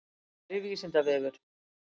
Kæri vísindavefur.